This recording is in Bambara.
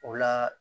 O la